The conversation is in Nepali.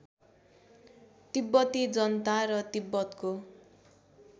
तिब्बती जनता र तिब्बतको